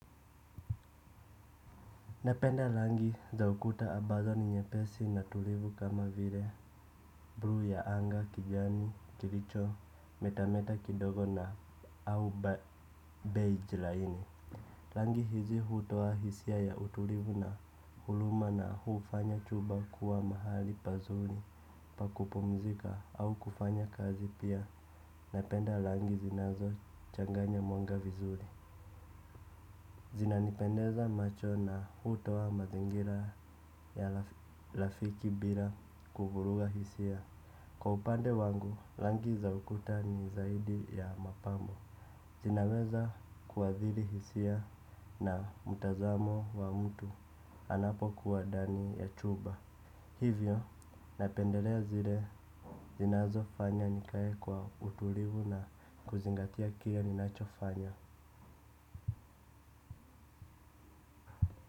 Napenda rangi za ukuta ambazo ni nyepesi na tulivu kama vile buluu ya anga kijani kilicho metameta kidogo na au beige laini rangi hizi hutoa hisia ya utulivu na huruma na hufanya chumba kuwa mahali pazuri pa kupumzika au kufanya kazi pia napenda rangi zinazochanganya rangi vizuri zinanipendeza macho na hutoa mazingira ya rafiki bila kuvuruga hisia. Kwa upande wangu, rangi za ukuta ni zaidi ya mapambo zinaweza kuathiri hisia na mtazamo wa mtu anapokuwa ndani ya chumba hivyo napendelea zile zinazofanya nikae kwa utulivu na kuzingatia kile ninachokifanya.